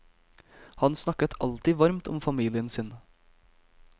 Han snakket alltid varmt om familien sin.